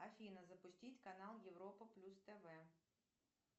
афина запустить канал европа плюс тв